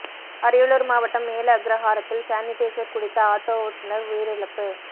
அரியலூர் மாவட்டம் மேல அக்ரஹாரத்தில் சானிடைசர் குடித்த ஆட்டோ ஓட்டுநர் உயிரிழப்பு